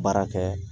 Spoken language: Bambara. Baara kɛ